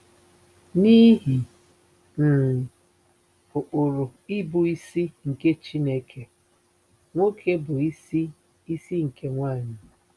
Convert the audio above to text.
N’ihi um ụkpụrụ ịbụisi nke Chineke: “Nwoke bụ isi isi nke nwanyị.”